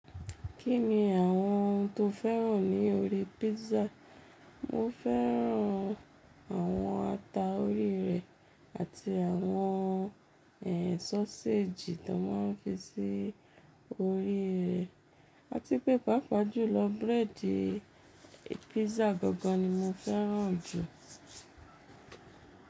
Kí ni àwọn ohun tó fẹ́ràn ní orí pizza? Mo fẹ́ràn àwọn ata orí rẹ̀ àti àwọn ẹ́ sọ́séjì tó máa ń fi sí orí rẹ̀. A ti pé pàápàá jùlọ bírẹ̀dì pizza gangan ni mo fẹ́ràn jù.